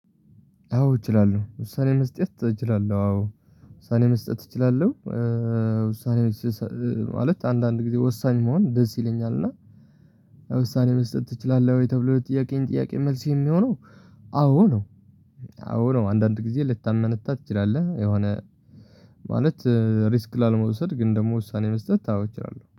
አዎ እችላለሁ ውሳኔ መስጠት እችላለሁ አዎ ውሳኔ መስጠት እችላለሁ። ውሳኔ ማለት አንዳንድ ጊዜ ወሳኝ መሆን ደስ ይለኛል እና ውሳኔ መስጠት ትችላለህ ወይ? ተብሎ የጥያቄን ጥያቄ መልስ የሚሆነው አዎ ነው። አዎ ነው አንዳንድ ጊዜ ልታመነታ ትችላለህ። የሆነ ማለት ሪስክ ላለመውሰድ ግን ደግሞ ውሳኔ መስጠት ታውቃለህ።